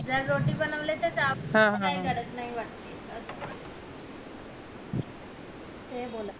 जर रोटी बनवली त असं हे बोलत हाय